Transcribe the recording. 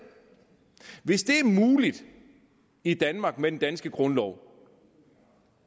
hvis det er muligt i danmark med den danske grundlov